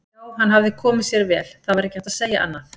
Já, hann hafði komið sér vel, það var ekki hægt að segja annað.